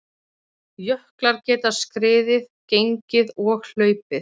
Jöklar geta skriðið, gengið og hlaupið.